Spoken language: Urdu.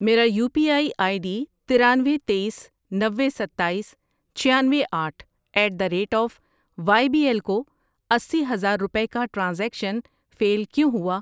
میرا U P I I D ترانوے، تییس، نوے، ستایس، چھیانوے، آٹھ at the rate of Y B L کو اسی ہزار روپے کا ٹرانزیکشن فیل کیوں ہوا؟